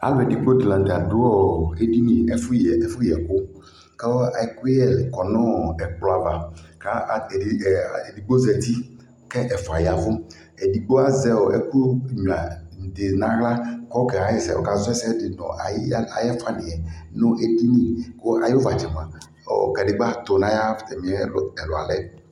Alʋ ɛdigbo di la nʋ tɛ dʋ ɔ edini, ɛfʋyɛkʋ kʋ ɛkʋyɛ kɔ nʋ ɔ ɛkplɔ ava Edigbo zati kʋ ɛfua yavʋ Edigbo azɛ ɛkʋnyua di n'aɣla kʋ ɔkaɣɛ ɛsɛ, ɔkazɔ ɛsɛ di nʋ ayiɣalɛ, ayʋ ɛfuaniɛ nʋ edini Ayʋ vatsɛ moa, kadigba tʋ nʋ atami ɛlʋalɛ